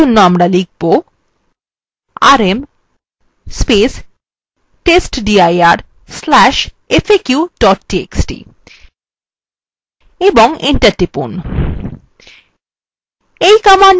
আমরা for জন্য লিখব